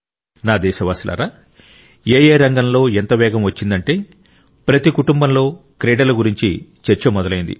నా దేశవాసులారా ఎఏ రంగంలో ఎంత వేగం వచ్చిందంటే ప్రతి కుటుంబంలో క్రీడల గురించి చర్చ మొదలైంది